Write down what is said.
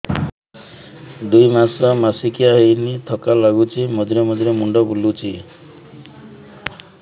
ଦୁଇ ମାସ ମାସିକିଆ ହେଇନି ଥକା ଲାଗୁଚି ମଝିରେ ମଝିରେ ମୁଣ୍ଡ ବୁଲୁଛି